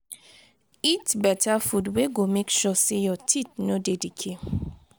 eat better food wey go make sure sey your teeth no dey decay